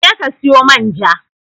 Je ki sayo man ja